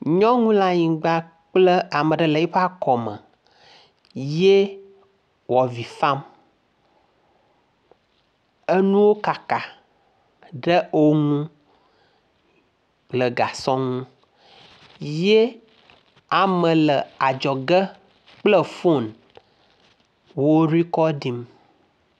Nyɔnu le anyigba kple ame ɖe le yiƒe akɔme ye wò avi fam. Enuwo kaka ɖe ŋu le gasɔ ŋu ye ame le adzɔge kple fon wo rikɔɖim.